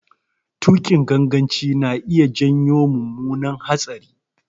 Tuƙin ganganci na iya janyo mummunar hatsari.